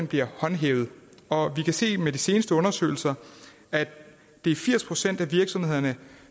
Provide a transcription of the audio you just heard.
bliver håndhævet og vi kan se med de seneste undersøgelser at det er firs procent af virksomhederne